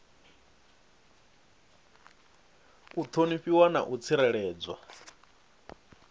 u ṱhonifhiwa na u tsireledzwa